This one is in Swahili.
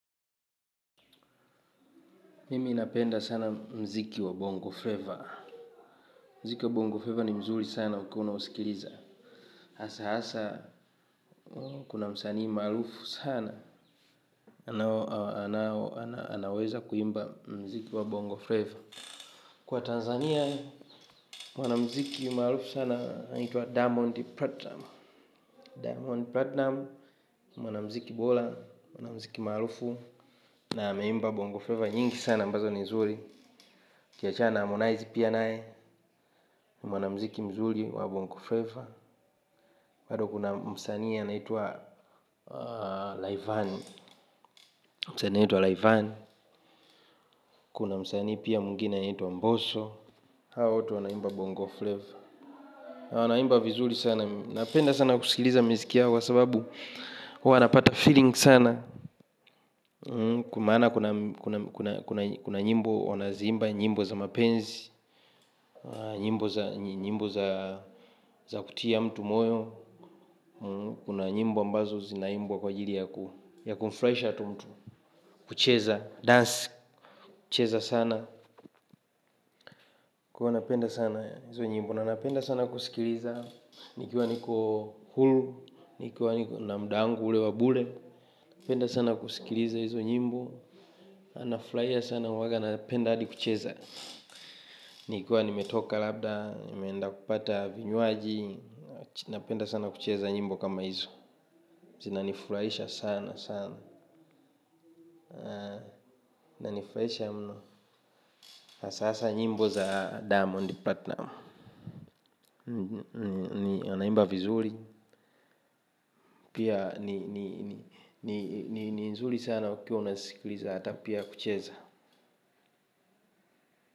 Mimi ninapenda sana mziki wa Bongo Flavor. Mziki wa Bongo Flavor ni mzuri sana wakuwa na usikiliza Asa kuna msanii maalufu sana. Anaweza kuimba mziki wa Bongo Flavor Kwa Tanzania, mwana mziki maalufu sana nituwa Diamond Platinum Diamond Platinum. Mwana mziki bola, mwana mziki maalufu na ameimba Bongo Flavor nyingi sana mbazo ni mzuri. Kiachana amonaizi pia nae. Mwana mziki mzuli wa bongo flavor hado kuna msani ya naitua laivani. Kuna msani ya naitua laivani. Kuna msanii pia mungina ya naitua mboso hawa wote wanaimba vizuli sana huwa napata feeling sana maana kuna kuna nyimbo wana zimba. Nyimbo za mapenzi. Nyimbo za kutia mtu moyo. Kuna nyimbo ambazo zinaimbwa kwa jiri ya kuflaisha tu mtu. Kucheza, dance, kucheza sana kwa ivo napenda sana izo njimbo. Nanapenda sana kusikiliza. Nikiwa niko hulu nikiwa namdangu ule wabule. Nipenda sana kusikiliza izo nyimbo. Anaflaia sana waga napenda hadi kucheza nikuwa nimetoka labda nimeenda kupata vinywaji. Napenda sana kucheza nyimbo kama izo. Zina niflaisha sana sana na nifraisha mno, asasa nyimbo za Damondi Platinum Na anaimba vizuri, pia ni nzuri sana ukiwa unasikuliza hata pia kucheza.